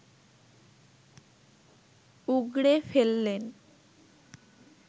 উগড়ে ফেললেন